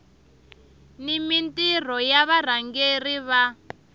ni mintirho ya varhangeri va